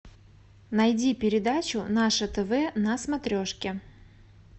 найди передачу наше тв на смотрешке